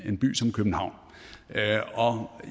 en by som københavn og